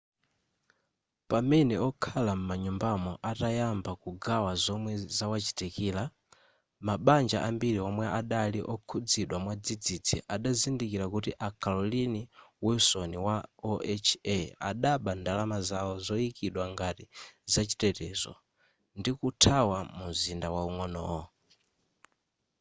pamene okhala m'manyumbamo atayamba kugawa zomwe zawachitikira mabanja ambiri omwe adali okhuzidwa mwadzidzi adazindikira kuti a carolyn wilson wa oha adaba ndalama zawo zoyikidwa ngati zachitetezo ndikuthawa mumzinda waung'onowo